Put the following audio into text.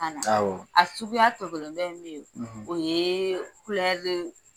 awɔ a suguya tɔkelen dɔ in bɛ ye kulɛri